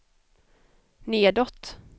nedåt